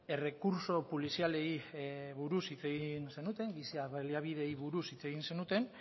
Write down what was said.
errekurtso polizialei buruz hitz egin zenuten giza baliabideei buruz hitz egin zenuten